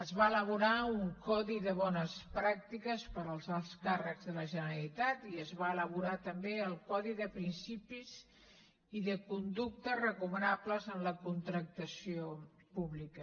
es va elaborar un codi de bones pràctiques per als alts càrrecs de la generalitat i es va elaborar també el codi de principis i de conductes recomanables en la contractació pública